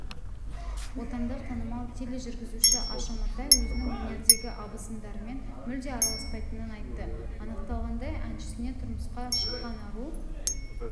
отандық танымал тележүргізуші аша матай өзінің өнердегі абысындарымен мүлде араласпайтынын айтты анықталғандай әншісіне тұрмысқа шыққан ару